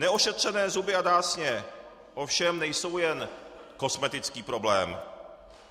Neošetřené zuby a dásně ovšem nejsou jen kosmetický problém.